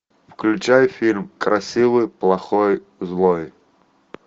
включай фильм красивый плохой злой